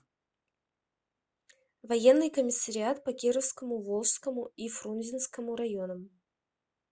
военный комиссариат по кировскому волжскому и фрунзенскому районам